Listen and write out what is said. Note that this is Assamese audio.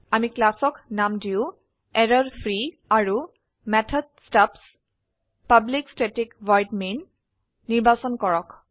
আমি ক্লাসক নাম দিও এৰৰফ্ৰী আৰু method stubs public static void main নিৰ্বাচন কৰক